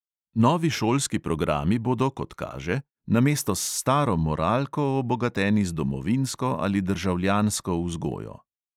Novi šolski programi bodo, kot kaže, namesto s staro moralko obogateni z domovinsko ali državljansko vzgojo.